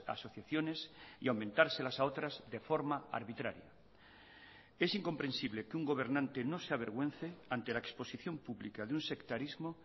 asociaciones y aumentárselas a otras de forma arbitraria es incomprensible que un gobernante no se avergüence ante la exposición pública de un sectarismo